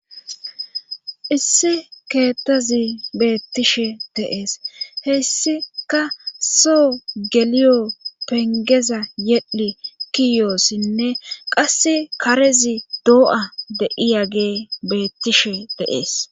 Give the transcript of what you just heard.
issi keettazi beettishe dee'es hessika soo geliyo pengeza yedhi kiyoossinne qass karezi doo'a de'iyagey beettishe de'ees